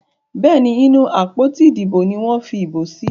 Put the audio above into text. Béèni inú àpótí Ìdìbò ní wón fí ibo sí.